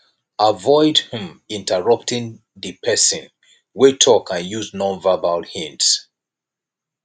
avoid um interrupting di person wey talk and use nonverbal hints